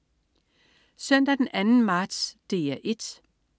Søndag den 2. marts - DR 1: